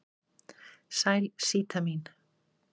Sæl Síta mín.